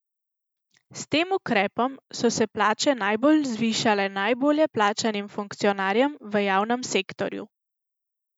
S tem ukrepom so se plače najbolj zvišale najbolje plačanim funkcionarjem v javnem sektorju.